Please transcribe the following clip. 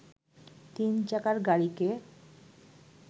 তিন চাকার গাড়িকে